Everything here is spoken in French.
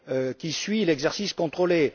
qui suit l'exercice contrôlé.